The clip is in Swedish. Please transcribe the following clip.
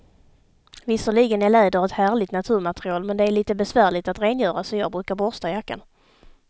Visserligen är läder ett härligt naturmaterial, men det är lite besvärligt att rengöra, så jag brukar borsta jackan.